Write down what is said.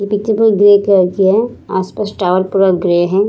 ये पिक्चर कोई grey colour की है आस-पास टावर पूरा ग्रे है ।